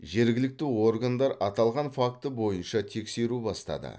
жергілікті органдар аталған факті бойынша тексеру бастады